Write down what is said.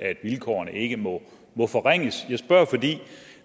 at vilkårene ikke må må forringes jeg spørger fordi